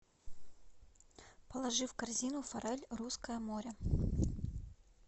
положи в корзину форель русское море